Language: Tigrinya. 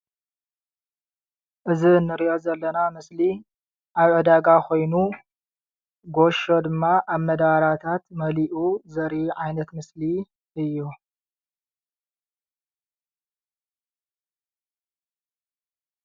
እዚ ንሪኦ ዘለና ምስሊ ኣብ ዕዳጋ ኮይኑ ጌሾ ድማ ኣብ መዳበርያታት መሊኡ ዘርኢ ዓይነት ምስሊ እዩ፡፡